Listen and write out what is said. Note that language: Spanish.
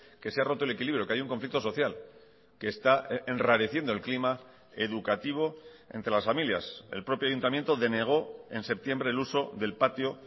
que se ha roto el equilibrio que hay un conflicto social que está enrareciendo el clima educativo entre las familias el propio ayuntamiento denegó en septiembre el uso del patio